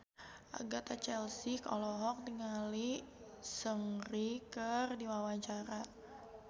Agatha Chelsea olohok ningali Seungri keur diwawancara